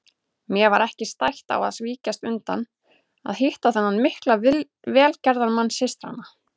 Mér var ekki stætt á að víkjast undan að hitta þennan mikla velgerðamann systranna.